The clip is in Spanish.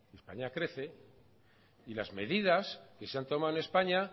españa crece y las medidas que se han tomado en españa